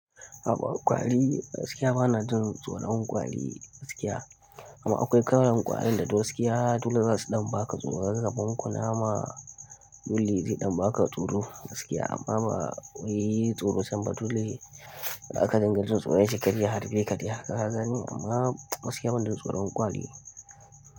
Akwai kwari gaskiya bana jin tsoron kwari gaskiya amma akwai kalan kwarin da duk gaskiya dole zasu ɗan baka tsoro. Gaban kunama dole zai ɗan baka tsoro gaskiya amma ba wai tsoro can ba dole zaka dinga jin tsoron shin kar ya harbe ka dai haka ka gani amma gaskiya bana jin tsoron kwari.